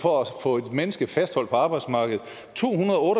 for at få et menneske fastholdt på arbejdsmarkedet tohundrede og